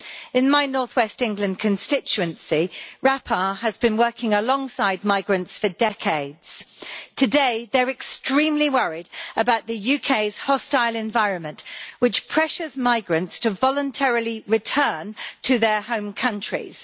In my north-west England constituency, RAPAR has been working alongside migrants for decades. Today, they are extremely worried about the UK's hostile environment, which pressures migrants to voluntarily return to their home countries.